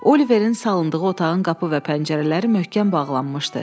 Oliverin salındığı otağın qapı və pəncərələri möhkəm bağlanmışdı.